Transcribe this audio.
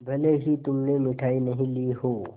भले ही तुमने मिठाई नहीं ली हो